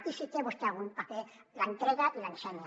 i si té vostè algun paper l’entrega i l’ensenya